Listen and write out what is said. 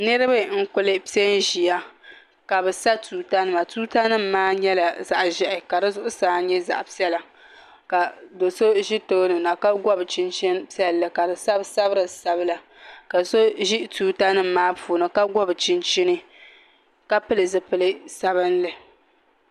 Niraba n ku piɛ n ʒiya ka bi sa tuuta nima tuuta nik maa nyɛla zaɣ ʒiɛhi ka di zuɣusaa nyɛ zaɣ piɛla ka do so ʒi tooni na ka gob chinchin piɛlli ka bi sabi sabiri sabila ka so ʒi tuuta nim maa puuni ka gobi chinchin ka pili zipili sabinli